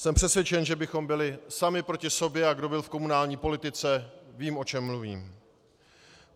Jsem přesvědčen, že bychom byli sami proti sobě, a kdo byl v komunální politice, ví, o čem mluvím.